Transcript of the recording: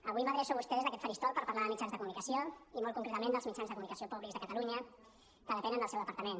avui m’adreço a vostè des d’aquest faristol per parlar de mitjans de comunicació i molt concretament dels mitjans de comunicació públics de catalunya que depenen del seu departament